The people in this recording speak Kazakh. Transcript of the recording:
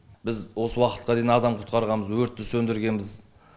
біз осы уақытқа дейін адам құтқарғанбыз өртті сөндіргенбіз